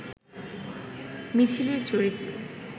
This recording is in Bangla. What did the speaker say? মিছিলের চরিত্র